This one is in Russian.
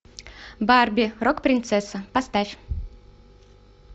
барби рок принцесса поставь